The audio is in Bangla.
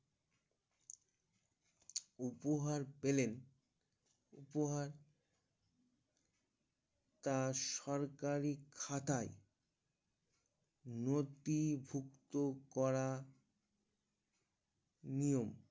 উপহার পেলেন উপহার তার সরকারি খাতায় নোটি ভুক্ত করা নিয়ম